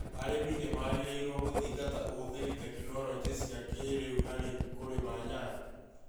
Arĩmi nĩ magĩrĩirũo gũthingata ũhũthĩri tekinolonjĩ cia kĩĩrĩu harĩ kũrĩma nyanya.